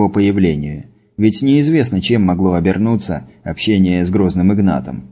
по появлению ведь неизвестно чем могло обернуться общение с грозным игнатом